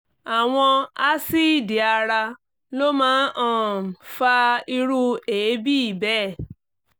àwọn asíìdì ara ló máa ń um fa irú èébì bẹ́ẹ̀